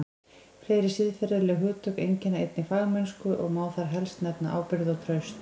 Fleiri siðferðileg hugtök einkenna einnig fagmennsku og má þar helst nefna ábyrgð og traust.